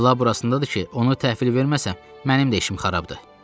Bəla burasındadır ki, onu təhvil verməsəm, mənim də işim xarabdır.